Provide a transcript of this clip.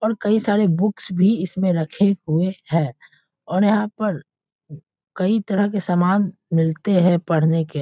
और कई सारे बुक्स भी इसमें रखे हुए हैं और यहाँ पर कई तरह के समान मिलते हैं पढ़ने के।